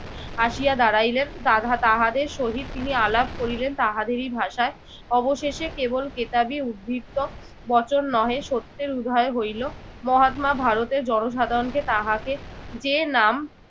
আসিয়া দাঁড়াইলেন। তাহাদের সহিত তিনি আলাপ করিলেন তাহাদেরই ভাষায়। অবশেষে কেবল কেতাবি উদ্ধৃত্ত বচন নহে, সত্যের উদয় হইল। মহাত্মা ভারতের জনসাধারণকে তাহাকে যে নাম